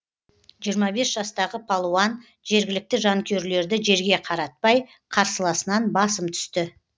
жиырма бес жастағы палуан жергілікті жанкүйерлерді жерге қаратпай қарсыласынан басым түсті